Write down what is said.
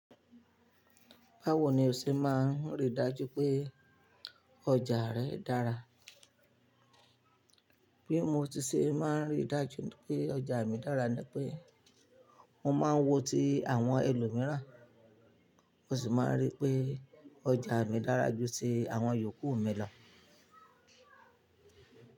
Báwo ni o ṣe máa ń ríi dájú pé ọjà rẹ dára? Bí mo ti ṣe máa ń ríi dájú pé ọjà mi dára ni pé mo máa ń wọ ti àwọn ẹlòmíràn, mo sì máa rí pé ọjà mi dára ju ti àwọn yòókù mi lọ.